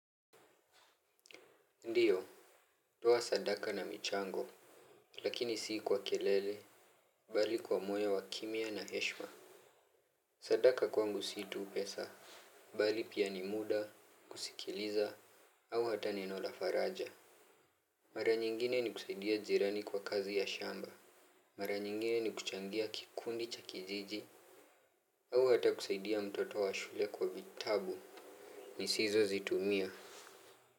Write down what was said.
Ndio, toa sadaka na michango, lakini si kwa kelele, bali kwa moyo wa kimya na heshima. Sadaka kwangu si tu pesa, bali pia ni muda, kusikiliza au hata neno la faraja. Mara nyingine ni kusaidia jirani kwa kazi ya shamba. Mara nyingine ni kuchangia kikundi cha kijiji, au hata kusaidia mtoto wa shule kwa vitabu, nisizozitumia.